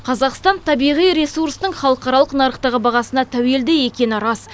қазақстан табиғи ресурстың халықаралық нарықтағы бағасына тәуелді екені рас